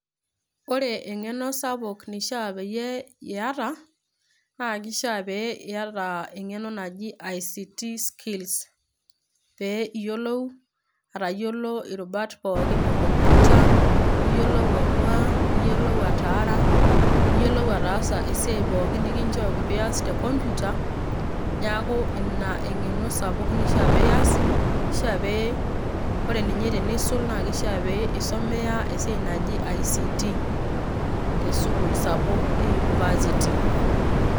Ore eng'eno sapuk nishaa peyie iyata, naa kishaa pee iyata eng'eno naji ICT skills ,pee iyiolou atayiolo irubat pookin ekompita, niyiolou ainua, niyiolou ataara, niyiolou ataasa esiai pookin nikinchooki pias tekompita, neeku ina eng'eno sapuk nishaa pias, nishaa pe ore ninye tenisul, na kishaa pe isomea esiai naji ICT, tesukuul sapuk e University.